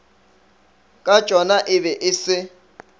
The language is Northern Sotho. katšona e be e se